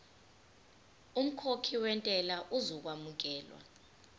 umkhokhi wentela uzokwamukelwa